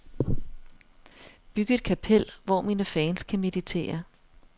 Byg et kapel, hvor mine fans kan meditere.